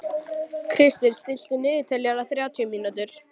Kristvin, stilltu niðurteljara á þrjátíu mínútur.